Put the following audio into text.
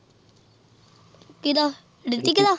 ਕਿਦਾਂ ਹਰਿਟੀਕ ਦਾ